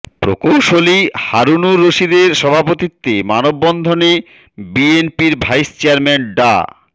প্রকৌশলী হারুনুর রশিদের সভাপতিত্বে মানববন্ধনে বিএনপির ভাইস চেয়ারম্যান ডা